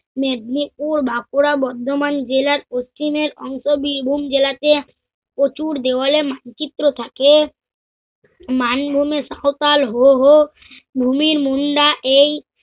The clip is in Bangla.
মেদিনীপুর বাকরা বর্ধমান জেলার দক্ষিণের অংশ বিভুম জেলাতে প্রচুর দেওয়ালে মানচিত্র থাকে। মানভুমির সাঁওতাল হো হো, ভুমির মুন্দা এই